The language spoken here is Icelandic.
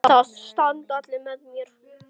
Það standa allir með þér.